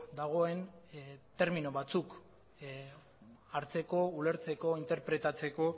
dagoen termino batzuk hartzeko ulertzeko interpretatzeko